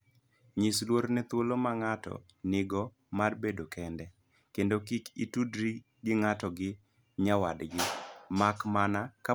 Nyis luor ne thuolo ma ng'ato nigo mar bedo kende, kendo kik itudri gi ng'ato gi nyawadgi, mak mana kapo ni mano en tim mapile.